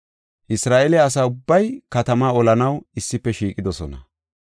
Isra7eele asa ubbay katamaa olanaw issife shiiqidosona.